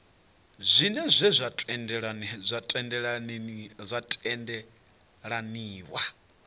zwiṅwe zwa zwe zwa tendelaniwa